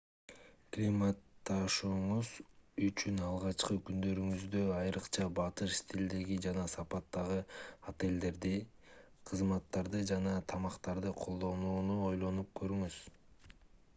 климатташууңуз үчүн алгачкы күндөрүңүздө айрыкча батыш стилиндеги жана сапатындагы отелдерди кызматтарды жана тамактарды колдонууну ойлонуп көрүңүз